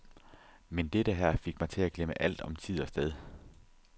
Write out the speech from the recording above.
Men dette her fik mig til at glemme alt om tid og sted.